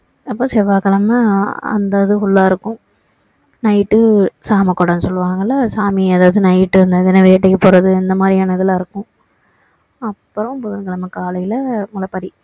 அப்போ செவ்வாய்க்கிழமை அந்த இது full லா இருக்கும் night டு சாம கொடைன்னு சொல்லுவாங்கல்ல சாமி அதாவது night வேட்டைக்கு போறது அந்த மாதிரியானதுலாம் இருக்கும் அப்பறோம் புதன்கிழமை காலையில முளைப்பாறி